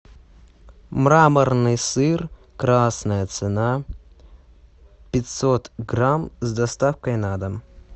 мраморный сыр красная цена пятьсот грамм с доставкой на дом